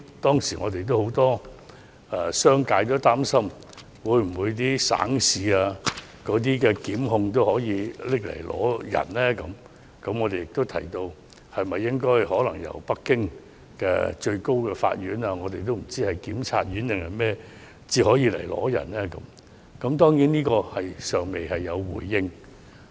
當時，很多商界擔心省市檢察機關也會要求香港移交犯人，我們便建議須由北京最高人民檢察院要求才可移交犯人，這一點當局尚未有回應。